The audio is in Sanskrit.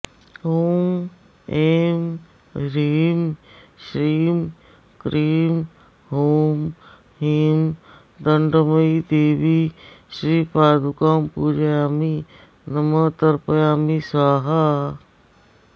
ॐ ऐं ह्रीं श्रीं क्रीं हूं ह्रीं दण्डमयीदेवी श्रीपादुकां पूजयामि नमः तर्पयामि स्वाहा